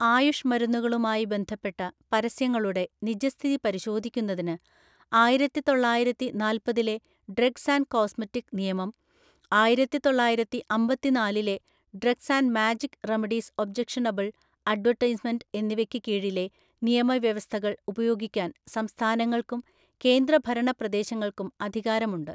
ആയുഷ് മരുന്നുകളുമായി ബന്ധപ്പെട്ട പരസ്യങ്ങളുടെ നിജസ്ഥിതി പരിശോധിക്കുന്നതിന് ആയിരത്തിതൊള്ളായിരത്തിനാല്പതിലേ ഡ്രഗ്സ്ആന്റ്കോസ്മെറ്റിക് നിയമം, ആയിരത്തിതൊള്ളായിരത്തിഅമ്പത്തിനാലിലെ ഡ്രഗ്സ്ആന്റ്മാജിക്റെമഡീസ് ഒബ്ജക്ഷണബിള്‍ അഡ്വര്‍റ്റൈസ്മെന്‍റ് എന്നിവയ്ക്ക് കീഴിലെ നിയമവ്യവസ്ഥകള്‍ ഉപയോഗിക്കാന് സംസ്ഥാനങ്ങള്‍ക്കും, കേന്ദ്ര ഭരണ പ്രദേശങ്ങള്‍ക്കും അധികാരമുണ്ട്.